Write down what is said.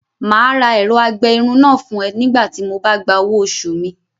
Màá ra ẹ̀rọ-agbẹ-irun náà fún ẹ nígbà tí Mo ba gba owo oṣù mi